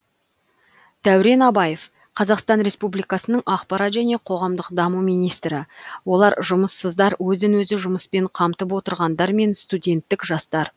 дәурен абаев қазақстан республикасының ақпарат және қоғамдық даму министрі олар жұмыссыздар өзін өзі жұмыспен қамтып отырғандар мен студенттік жастар